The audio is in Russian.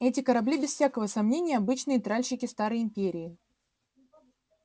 эти корабли без всякого сомнения обычные тральщики старой империи